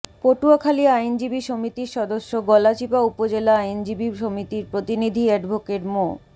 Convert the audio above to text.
পটুয়াখালী আইনজীবী সমিতির সদস্য গলাচিপা উপজেলা আইনজীবী সমিতির প্রতিনিধি এডভোকেট মো